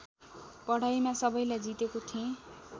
पढाइमा सबैलाई जितेको थेँ